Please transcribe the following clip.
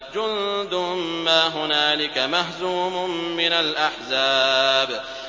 جُندٌ مَّا هُنَالِكَ مَهْزُومٌ مِّنَ الْأَحْزَابِ